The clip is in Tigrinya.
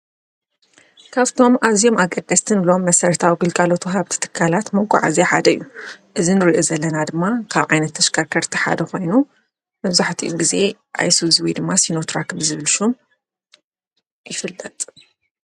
ካብቶም ኣዝዮም አገደስቲ እንብሎም መስረታዊ ግልጋሎት ዋሃብቲ ትካላት መጋዓዝያ ሓደ እዩ፡፡ እዚ እንሪኦ ዘለና ድማ ካብ ዓይነት ተሽከርከርቲ ሓደ ኮይኑ መብዛሕቲኡ ግዜ አሱዝ ወይድማ ሲኖትራክ ብዝብል ሹም ይፍልጥ፡፡